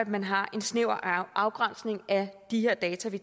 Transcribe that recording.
man har en snæver afgrænsning af de data vi